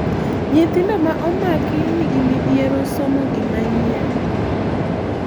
nyithindo ma omaki nigi midhiero somo gima nyien